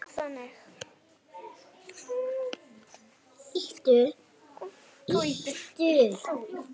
Hann var þannig.